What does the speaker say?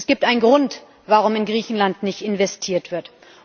Es gibt einen Grund, warum in Griechenland nicht investiert wird.